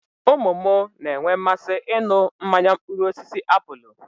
Ụmụ mụ na-enwe mmasị ị nụ mmanya mkpụrụosisi apụlụ